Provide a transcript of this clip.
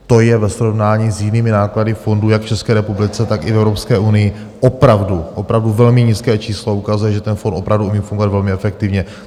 To je ve srovnání s jinými náklady fondu jak v České republice, tak i v Evropské unii opravdu, opravdu velmi nízké číslo, ukazuje, že ten fond opravdu umí fungovat velmi efektivně.